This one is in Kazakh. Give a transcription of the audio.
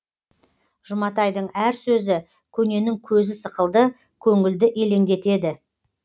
жұматайдың әр сөзі көненің көзі сықылды көңілді елеңдетеді